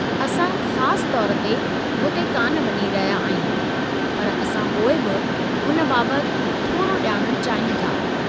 असां ख़ास तौर ते हुते कान वञी रहिया आहियूं, पर असां पोइ बि हुन बाबति थोरो ॼाणणु चाहियूं था।